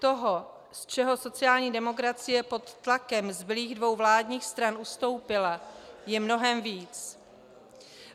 Toho, z čeho sociální demokracie pod tlakem zbylých dvou vládních stran ustoupila, je mnohem víc.